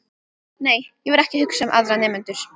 Nei, ég var ekki að hugsa um aðra nemendur.